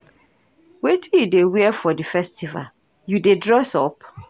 Wetin you dey wear for di festival, you dey dress up?